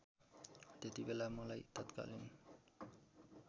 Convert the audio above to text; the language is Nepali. त्यतिबेला मलाई तत्कालीन